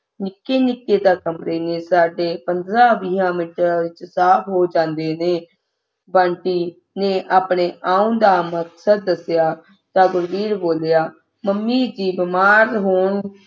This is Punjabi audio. ਨਿੱਕੇ ਨਿੱਕੇ ਤੇ ਕਮਰੇ ਨੇ ਸਾਡੇ ਪੰਦਰਾਂ-ਵੀਹਾਂ ਮਿੰਟਾਂ ਵਿੱਚ ਸਾਫ ਹੋ ਜਾਂਦੇ ਨੇ ਬੰਟੀ ਨੇ ਆਪਣੇ ਆਉਣ ਦਾ ਮਕਸਦ ਦੱਸਿਆ ਤਾਂ ਗੁਰਬੀਰ ਬੋਲਿਆ ਮੰਮੀ ਦੇ ਬਿਮਾਰ ਹੋਣ